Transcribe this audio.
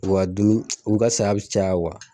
U dumini u ka saya bi caya kuwa